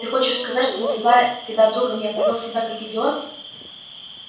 ты хочешь сказать что называя тебя другом я повёл себя как идиот